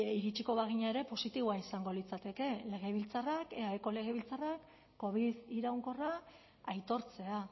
iritsiko bagina ere positiboa izango litzateke legebiltzarrak eaeko legebiltzarrak covid iraunkorra aitortzea